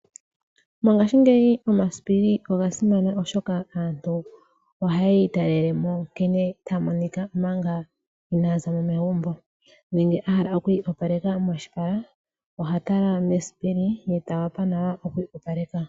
Mongashiingeyi omasipili oga simana, oshoka aantu ohayi italelemo nkene taa monika manga ina zamo megumbo nenge a hala okwiiyopaleka moshipala, oha tala mesipili ye ta wapa nawa oku iyopaleka.